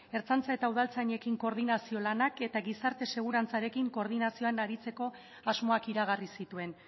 ertzaintza eta udaltzainekin koordinazio lanak eta gizarte segurantzarekin koordinazioan aritzeko asmoak iragarri zituen